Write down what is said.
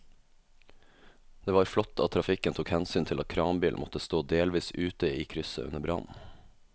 Det var flott at trafikken tok hensyn til at kranbilen måtte stå delvis ute i krysset under brannen.